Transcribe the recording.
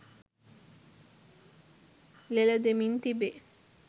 ලෙලදෙමින් තිබේ